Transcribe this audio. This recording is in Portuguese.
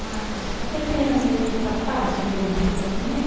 Mas você pensa que está fácil dentista também?